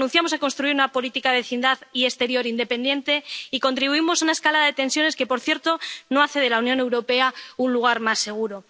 Renunciamos a construir una política de vecindad y exterior independiente y contribuimos a una escalada de tensiones que, por cierto, no hace de la Unión Europea un lugar más seguro.